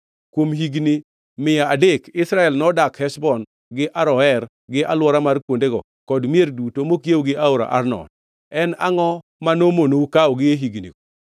Kuom higni mia adek Israel nodak Heshbon, gi Aroer, gi alwora mar kuondego kod mier duto mokiewo gi aora Arnon. En angʼo ma nomonou kawogi e hignigo?